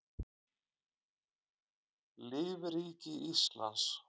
lífríki íslands